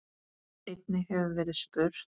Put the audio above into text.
Einnig hefur verið verið spurt